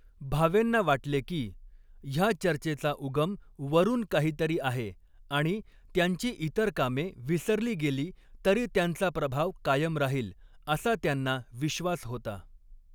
भावेंना वाटले की, ह्या चर्चेचा उगम वरून काहीतरी आहे आणि त्यांची इतर कामे विसरली गेली तरी त्यांचा प्रभाव कायम राहील असा त्यांना विश्वास होता.